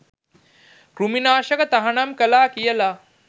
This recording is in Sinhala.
කෘමි නාශක තහනම් කළා කියලා.